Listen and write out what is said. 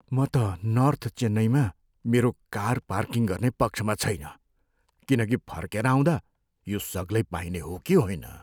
म त नर्थ चेन्नईमा मेरो कार पार्किङ गर्ने पक्षमा छैन किनकि फर्केर आउँदा यो सग्लै पाइने हो कि होइन।